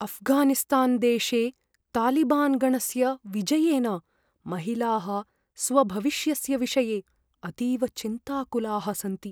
अफ्घानिस्तानदेशे तालिबान् गणस्य विजयेन महिलाः स्वभविष्यस्य विषये अतीव चिन्ताकुलाः सन्ति।